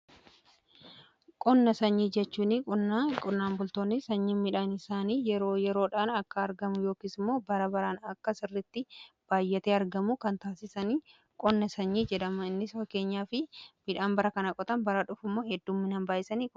Qonna sanyii jechuun qonnaan bultoonni sanyiin midhaan isaanii yeroodhaan akka argamu yookiis immoo bara baraan akka sirritti baay'ate argamu kan taasisanii qonna sanyii jedhama. Innis bifa keenyaa fi midhaan bara kana qotan bara dhufu immoo hedduuminaan baay'isanii galfatu.